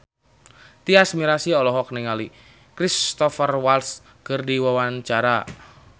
Tyas Mirasih olohok ningali Cristhoper Waltz keur diwawancara